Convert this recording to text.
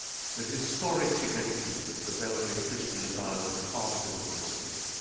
The historic significance of the Belgrade Pristina dialogue is hard to overestimate